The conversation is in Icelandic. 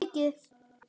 Það er mikið!